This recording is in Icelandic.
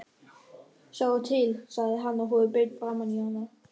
Sjáðu til, sagði hann og horfði beint framan í hana.